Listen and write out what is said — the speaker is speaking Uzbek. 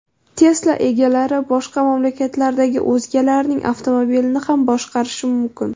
Tesla egalari boshqa mamlakatlardagi o‘zgalarning avtomobilini ham boshqarishi mumkin.